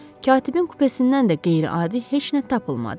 Katibin kupesindən də qeyri-adi heç nə tapılmadı.